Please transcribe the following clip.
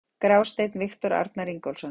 Grásteinn: Viktor Arnar Ingólfsson.